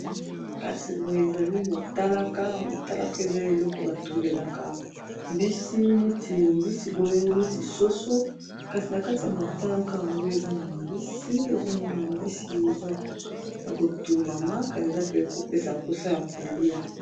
Kasi boye ezali motalaka, motalaka eza eloko batumbelaka mbisi neti mbisi boye neti soso kasi na kati ya motalaka yango eza na mbisi ezomona mbisi eza ya kotumbama kasi eza pe kopesa mposa ya kolia.